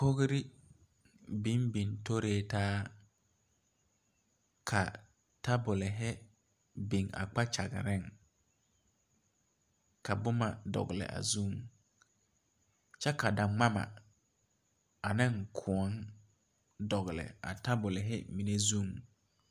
Kogre biŋ biŋ toritaa ka tabolehi biŋ a kpakyagaŋ ka bomma dɔgle a zu kyɛ ka da ngmamma aneŋ kõɔ dɔgle a tabolehi mine zuŋ.